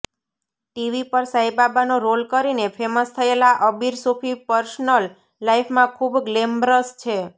TV પર સાઈબાબાનો role કરીને ફેમસ થયેલા અબીર સુફી પર્સનલ લાઈફમાં ખુબ ગ્લેમરસ છે